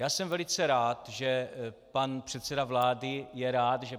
Já jsem velice rád, že pan předseda vlády je rád, že